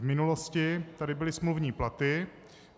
V minulosti tady byly smluvní platy.